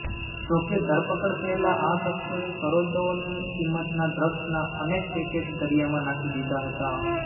જો કે ધરપકડ પહેલા આ શખ્સોએ કરોડોની કિંમતના ડ્રગ્સના અનેક પેકેટ દરિયામાં નાખી દીધા હતા